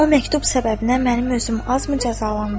O məktub səbəbinə mənim özüm azmı cəzalandım?